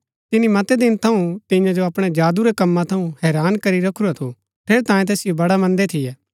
तिनी मतै दिन थऊँ तियां जो अपणै जादू रै कम्मा थऊँ हैरान करी रखुरा थू ठेरैतांये तैसिओ बड़ा मन्दै थियै